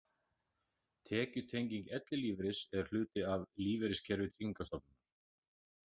Tekjutenging ellilífeyris er hluti af lífeyriskerfi Tryggingarstofnunar.